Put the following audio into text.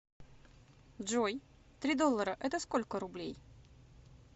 джой три доллара это сколько рублей